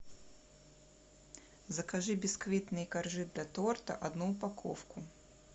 закажи бисквитные коржи для торта одну упаковку